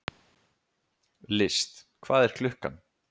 List, hvað er klukkan?